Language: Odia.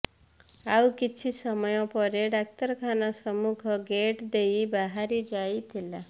ଆଉ କିଛି ସମୟ ପରେ ଡାକ୍ତରଖାନା ସମ୍ମୁଖ ଗେଟ୍ ଦେଇ ବାହାରି ଯାଇଥିଲା